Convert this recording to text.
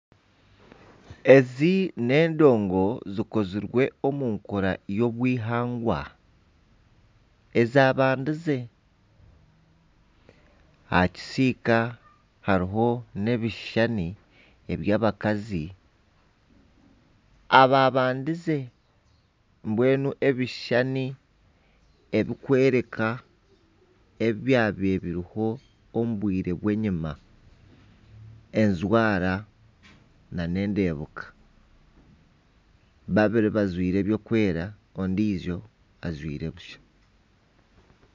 Ezi n'endongo zikozirwe omu nkora y'obuhangwa ezambandize aha kisiika hariho n'ebishushani eby'abakazi ababandize mbwenu ebishushani ebikworeka ebyabire biriho omu bwire bw'enyuma ejwara na n'endeebeka babiri bajwaire ebirikwera ondiijo ajwaire busha.